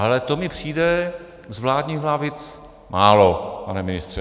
Ale to mi přijde z vládních lavic málo, pane ministře.